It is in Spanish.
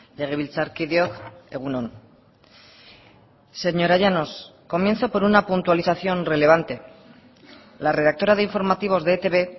legebiltzarkideok egun on señora llanos comienzo por una puntualización relevante la redactora de informativos de etb